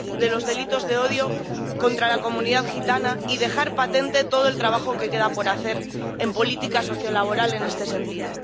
los delitos de odio contra la comunidad gitana y dejar patente todo el trabajo que queda por hacer en política sociolaboral en este sentido.